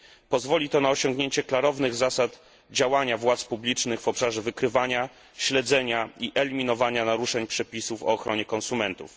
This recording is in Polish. Pozwoli to na osiągniecie klarownych zasad działania władz publicznych w obszarze wykrywania, śledzenia i eliminowania naruszeń przepisów o ochronie konsumentów.